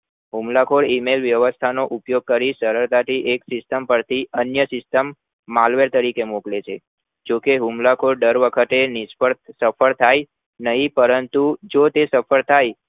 હુમલાખોર email વ્યવસ્થાનો ઉપયોગ કરી સરક્તાથી system પરથી અન્ય system Malver તરીકે મોકલે છે જોકે હુમલાખોર દર વખતે નિષ્ફળ સફળ થાય નહિ પરંતુ જોતે સફળ થાય